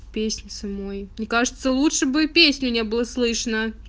песни самой мне кажется лучше бы песню не было слышно